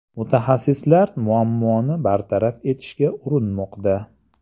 Mutaxassislar muammoni bartaraf etishga urinmoqda.